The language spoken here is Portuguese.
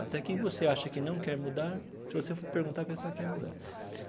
Até quem você acha que não quer mudar, se você for perguntar, a pessoa quer mudar.